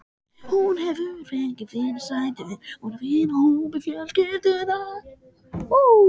Hún hefur fengið fyrirsætur úr vinahópi fjölskyldunnar.